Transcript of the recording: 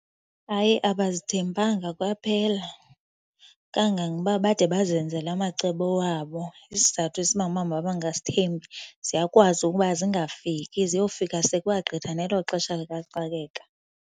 Hayi, abazithembanga kwaphela kangangoba bade bazenzele amacebo wabo. Isizathu esibangela uba mabangazithembi, ziyakwazi ukuba zingafiki ziyofika sekwagqitha nelo xesha likaxakeka.